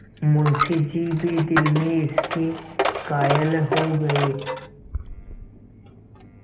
मुंशी जी भी दिल में इसके कायल हो गये